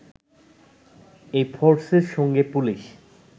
এ ফোর্সের সঙ্গে পুলিশ